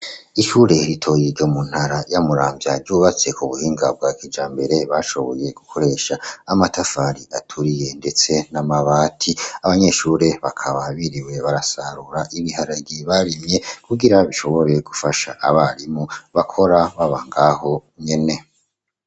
Ishure ritoyi mu ntara ya Muramvya ryubatse ku buhinga bwa kijambere bashoboye gukoresha amatafari aturiye, ndetse n'amabati, abanyeshure bakaba biriwe barasarura ibiharage barimye kugira bishobore gufasha abarimu bakora baba ngaho nyene.